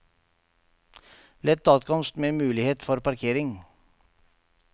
Lett adkomst med mulighet for parkering.